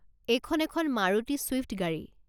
এইখন এখন মাৰুতি ছুইফ্ট গাড়ী।